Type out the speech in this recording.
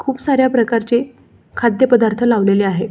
खूप साऱ्या प्रकारचे खाद्य पद्धार्थ लावलेले आहेत.